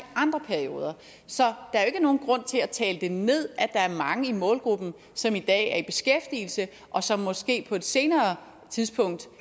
andre perioder så der er jo ikke nogen grund til at tale det ned at der er mange i målgruppen som i dag er i beskæftigelse og som måske på et senere tidspunkt